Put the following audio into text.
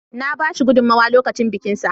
Na ba shi gudunmowa lokacin bikinsa.